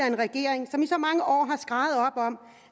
en regering som i så mange år